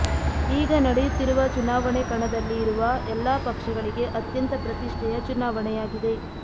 ಈಗ ನಡೆಯುತ್ತಿರುವ ಚುನಾವಣೆ ಕಣದಲ್ಲಿ ಇರುವ ಎಲ್ಲ ಪಕ್ಷಗಳಿಗೆ ಅತ್ಯಂತ ಪ್ರತಿಷ್ಠೆಯ ಚುನಾವಣೆಯಾಗಿದೆ